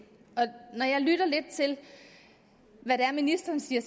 når jeg lytter lidt til hvad det er ministeren siger